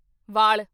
ਵਾਲ